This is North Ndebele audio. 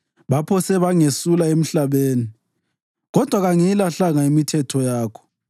Baphose bangesula emhlabeni, kodwa kangiyilahlanga imithetho yakho.